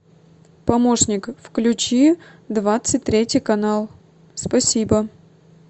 помощник включи двадцать третий канал спасибо